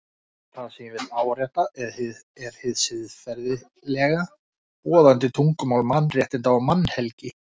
Það sem ég vil árétta er hið siðferðilega, boðandi tungumál mannréttinda og mannhelgi.